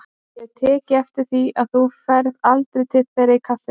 Ég hef tekið eftir því að þú ferð aldrei til þeirra í kaffinu.